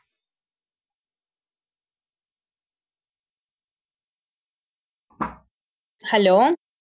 hello